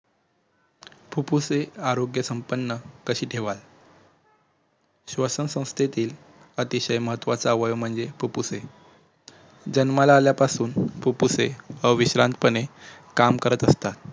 फुप्फुसे आरोग्यसंपन्न कशी ठेवाल श्वसनसंस्थेतील अतिशय महत्वाचा अवयव म्हणजे फुप्फुसे जन्माला आल्यापासून फुप्फुसे अविश्रांतपणे काम करत असतात